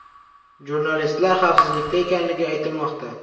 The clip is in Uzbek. Jurnalistlar xavfsizlikda ekanligi aytilmoqda.